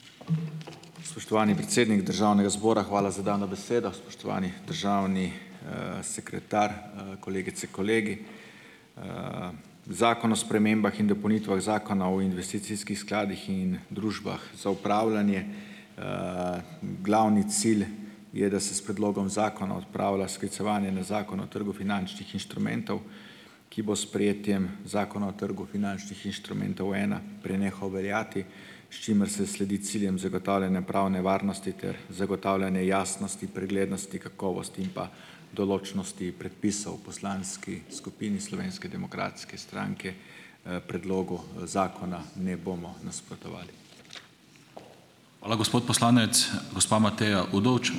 Spoštovani predsednik Državnega zbora, hvala za dano besedo, spoštovani državni sekretar, kolegice, kolegi. Zakon o spremembah in dopolnitvah Zakona o investicijskih skladih in družbah za upravljanje glavni cilj je, da se s predlogom zakona odpravlja sklicevanje na Zakon o trgu finančnih inštrumentov, ki bo s sprejetjem Zakona o trgu finančnih inštrumentov ena prenehal veljati, s čimer se sledi ciljem zagotavljanja pravne varnosti ter zagotavljanje jasnosti, preglednosti, kakovosti in pa določnosti predpisov. V poslanski skupini Slovenske demokratske stranke predlogu zakona ne bomo nasprotovali.